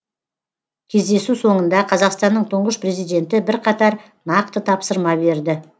кездесу соңында қазақстанның тұңғыш президенті бірқатар нақты тапсырма берді